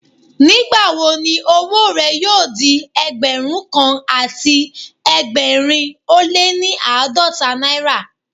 Nígbà wo ni owó rẹ yóò di Ẹgbẹ̀rún kan àti ẹgbẹ̀rin ó lé ní àádọ́ta náírà?